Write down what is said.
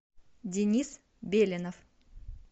денис беленов